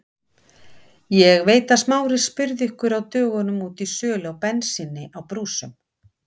Ég veit að Smári spurði ykkur á dögunum út í sölu á bensíni á brúsum.